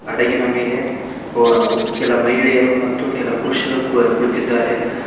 ಹಡಗಿನ ಮೇಲೆ ಒ ಕೆಲ ಮಹಿಳೆಯರು ಮತ್ತು ಕೆಲ ಪುರುಷರು ಕುಳಿತಿದ್ದಾರೆ.